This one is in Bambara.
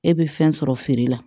E bɛ fɛn sɔrɔ feere la